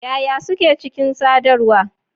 Yaya Suke Cikin Sadarwa?